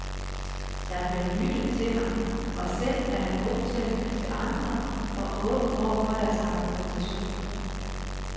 Der bliver lyttet til ham, og selv er han god til at lytte til andre og åben over for deres argumentationer.